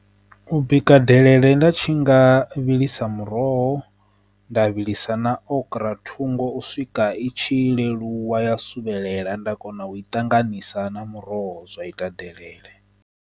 U bika delele nda tshi nga vhilisa muroho nda vhilisa na okura thungo u swika itshi leluwa ya so luvhelela nda kona u i ṱanganisa na muroho zwa ita.